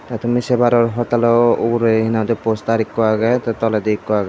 te tumi sey paror ugure he nang hoi di poster ekku agey the toledi ekku agey.